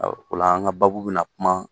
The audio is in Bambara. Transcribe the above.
o la an ka baabu bɛna kuma